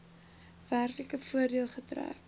werklike voordeel getrek